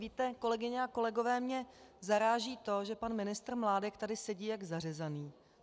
Víte, kolegyně a kolegové, mě zaráží to, že pan ministr Mládek tady sedí jak zařezaný.